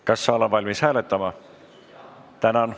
Kas saal on valmis hääletama?